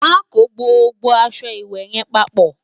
má kò gbogbo aṣọ ìwé yen paapo